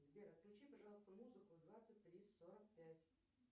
сбер отключи пожалуйста музыку в двадцать три сорок пять